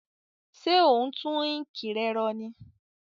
Sé o n tun ink re ro ní